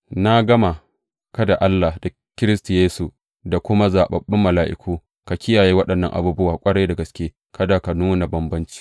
Na gama ka da Allah, da Kiristi Yesu, da kuma zaɓaɓɓun mala’iku, ka kiyaye waɗannan abubuwa ƙwarai da gaske, kada ka nuna bambanci.